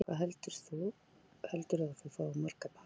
Lillý: Hvað heldurðu að þú fáir marga pakka?